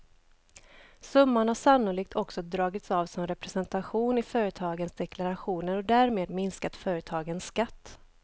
Summan har sannolikt också dragits av som representation i företagens deklarationer och därmed minskat företagens skatt.